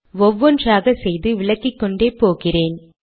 ஒவ்வொன்றாக செய்து விளக்கிக்கொண்டே போகிறேன்